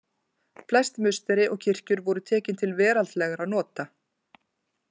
Flest musteri og kirkjur voru tekin til veraldlegra nota.